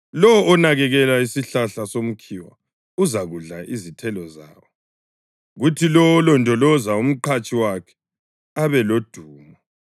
Lowo onakekela isihlahla somkhiwa uzakudla izithelo zawo, kuthi lowo olondoloza umqhatshi wakhe abelodumo.